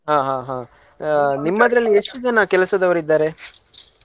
ಹಾ ಹಾ ಹಾ ಆಹ್ ನಿಮ್ಮದ್ರಲ್ಲಿ ಎಷ್ಟು ಜನ ಕೆಲ್ಸದವರು ಇದ್ದಾರೆ.